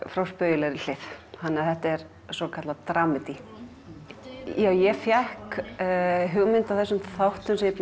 frá spaugilegri hlið þannig að þetta er svokallað dramedy ég fékk hugmyndina að þessum þáttum sem ég